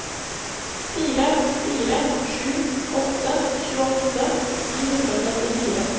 fire fire sju åtte tjueåtte ni hundre og syttifire